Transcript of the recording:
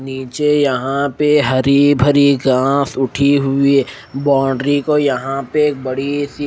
निचे यहाँ पे हरी भरी घास उठी हुई है बाउंडरी को यहाँ पे एक बड़ी सी--